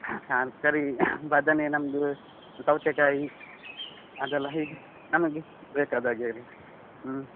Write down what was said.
ನಾನ್ ಈ ಸರಿ ಬದನೆ ನಮ್ದು, ಸೌತೆಕಾಯಿ, ಅದೆಲ್ಲ ಹೀಗೆ ನಮಿಗೆ ಬೇಕಾದಾಗೆ ಎಲ್ಲ ಹ್ಮ್.